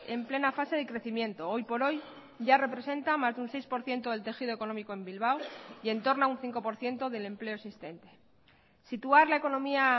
en plena fase de crecimiento hoy por hoy ya representa más de un seis por ciento del tejido económico en bilbao y en torno a un cinco por ciento del empleo existente situar la economía